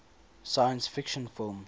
science fiction film